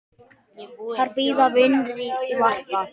Þar bíða vinir í varpa.